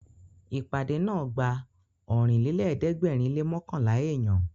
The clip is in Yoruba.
Ìpàdé náà gba Ọ̀rìnlélẹ̀ẹ́dẹ́gbèrin lé mọ́kànlá èèyàn